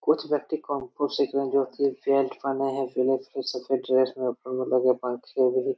कुछ व्यक्ति कुंग-फू सीख रहे हैं बेल्ट पहने हैं सफेद ड्रेस में --